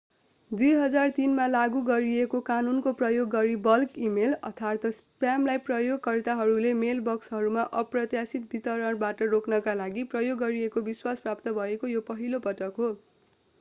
2003 मा लागू गरिएको कानूनको प्रयोग गरी बल्क इमेल अर्थात् स्प्यामलाई प्रयोगकर्ताहरूका मेलबक्सहरूमा अप्रत्याशित वितरणबाट रोक्नका लागि प्रयोग गरिएको विश्वास प्राप्त भएको यो पहिलो पटक हो